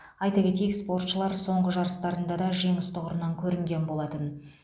айта кетейік спортшылар соңғы жарыстарында да жеңіс тұғырынан көрінген болатын